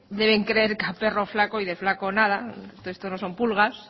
deben creer que a perro flaco y de flaco nada que esto no son pulgas